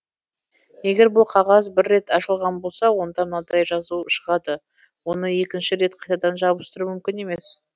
егер бұл қағаз бір рет ашылған болса онда мынадай жазу шығады оны екінші рет қайтадан жабыстыру мүмкін емес